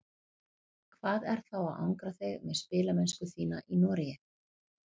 Hvað er þá að angra þig með spilamennsku þína í Noregi?